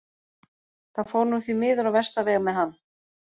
Það fór nú því miður á versta veg með hann.